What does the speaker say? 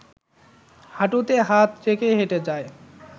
হাঁটুতে হাত রেখে হেঁটে যাই